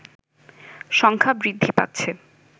সংখ্যা বৃদ্ধি পাচ্ছে